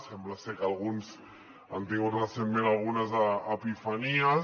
sembla ser que alguns han tingut recentment algunes epifanies